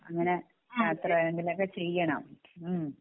അങ്ങിനെ യാത്ര എന്തെങ്കിലും ഒക്കെ ചെയ്യണം മ്മ്